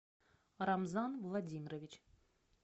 рамзан владимирович